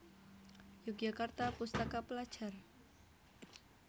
Yogyakarta Pustaka Pelajar